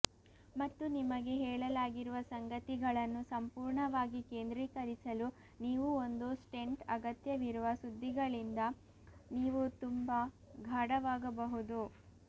ಮತ್ತು ನಿಮಗೆ ಹೇಳಲಾಗಿರುವ ಸಂಗತಿಗಳನ್ನು ಸಂಪೂರ್ಣವಾಗಿ ಕೇಂದ್ರೀಕರಿಸಲು ನೀವು ಒಂದು ಸ್ಟೆಂಟ್ ಅಗತ್ಯವಿರುವ ಸುದ್ದಿಗಳಿಂದ ನೀವು ತುಂಬಾ ಗಾಢವಾಗಬಹುದು